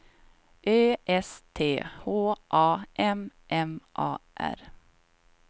Ö S T H A M M A R